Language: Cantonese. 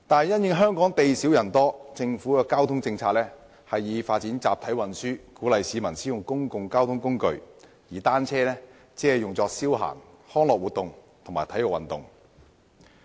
因應香港地少人多，政府的交通政策以發展集體運輸為主，鼓勵市民使用公共交通工具，而單車只用作消閒、康樂活動和體育運動。